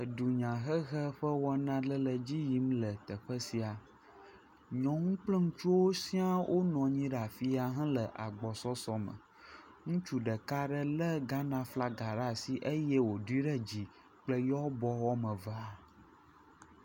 Edunyahehe ƒe wɔna aɖe le dzi yim le teƒe sia. Nyɔnu kple ŋutsuwo sia wonɔ anyi ɖe afi ya le agbɔsɔsɔ me. Ŋutsu ɖeka ɖe lé Ghana flaga ɖe asi eye wòdoe ɖe dzi kple yewɔ abɔ woame evea.